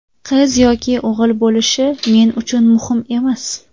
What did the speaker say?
Qiz yoki o‘g‘il bo‘lishi men uchun muhim emas.